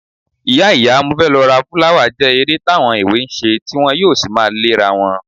Ìyá ìyá mo fẹ́ lọ ra fúláwà jẹ́ eré táwọn èwe ń ṣe tí wọn yóò sì máa léra wọn